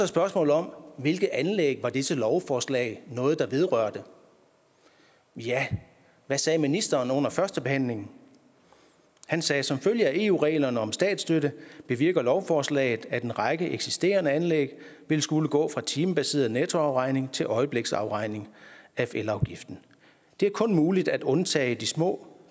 spørgsmålet om hvilke anlæg dette lovforslag vedrører ja hvad sagde ministeren under førstebehandlingen han sagde som følge af eu reglerne om statsstøtte bevirker lovforslaget at en række eksisterende anlæg vil skulle gå fra timebaseret nettoafregning til øjebliksafregning af elafgiften det er kun muligt at undtage de små